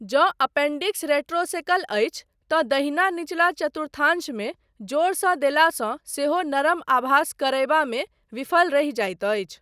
जँ appendix retrocaecal अछि तँ दहिना निचला चतुर्थांशमे जोरसँ देलासँ सेहो नरम आभास करयबामे विफल रहि जाइत अछि।